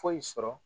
Foyi sɔrɔ